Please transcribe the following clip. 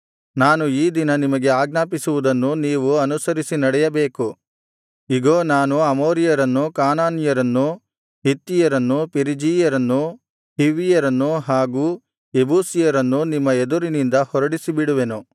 ನಾನು ಈ ದಿನ ನಿಮಗೆ ಆಜ್ಞಾಪಿಸುವುದನ್ನು ನೀವು ಅನುಸರಿಸಿ ನಡೆಯಬೇಕು ಇಗೋ ನಾನು ಅಮೋರಿಯರನ್ನು ಕಾನಾನ್ಯರನ್ನು ಹಿತ್ತಿಯರನ್ನು ಪೆರಿಜೀಯರನ್ನು ಹಿವ್ವಿಯರನ್ನು ಹಾಗು ಯೆಬೂಸಿಯರನ್ನು ನಿಮ್ಮ ಎದುರಿನಿಂದ ಹೊರಡಿಸಿಬಿಡುವೆನು